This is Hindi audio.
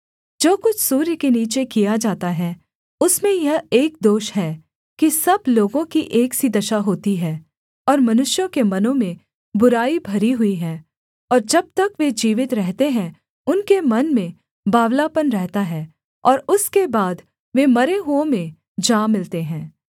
जो कुछ सूर्य के नीचे किया जाता है उसमें यह एक दोष है कि सब लोगों की एक सी दशा होती है और मनुष्यों के मनों में बुराई भरी हुई है और जब तक वे जीवित रहते हैं उनके मन में बावलापन रहता है और उसके बाद वे मरे हुओं में जा मिलते हैं